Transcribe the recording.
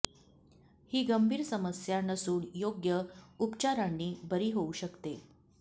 ही गंभीर समस्या नसून योग्य उपचारांनी बरी होऊ शकते